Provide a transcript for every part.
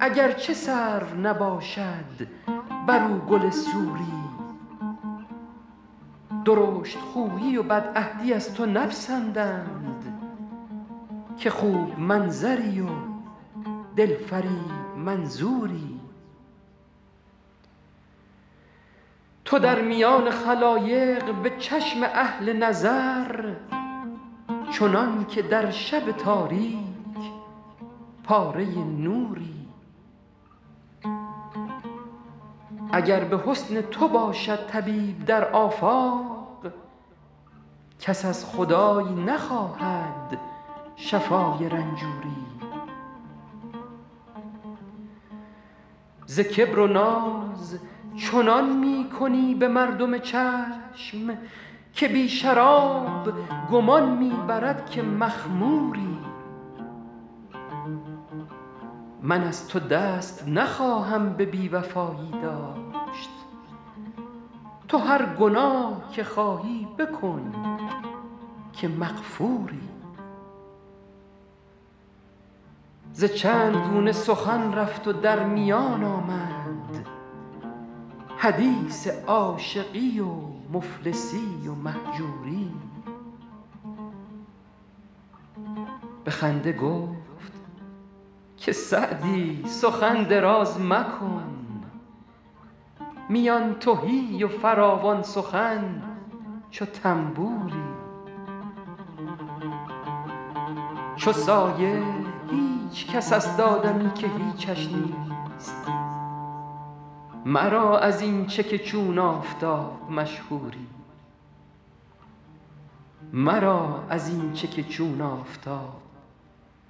اگر چه سرو نباشد بر او گل سوری درشت خویی و بدعهدی از تو نپسندند که خوب منظری و دل فریب منظوری تو در میان خلایق به چشم اهل نظر چنان که در شب تاریک پاره نوری اگر به حسن تو باشد طبیب در آفاق کس از خدای نخواهد شفای رنجوری ز کبر و ناز چنان می کنی به مردم چشم که بی شراب گمان می برد که مخموری من از تو دست نخواهم به بی وفایی داشت تو هر گناه که خواهی بکن که مغفوری ز چند گونه سخن رفت و در میان آمد حدیث عاشقی و مفلسی و مهجوری به خنده گفت که سعدی سخن دراز مکن میان تهی و فراوان سخن چو طنبوری چو سایه هیچ کس است آدمی که هیچش نیست مرا از این چه که چون آفتاب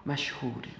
مشهوری